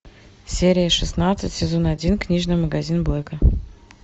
серия шестнадцать сезон один книжный магазин блэка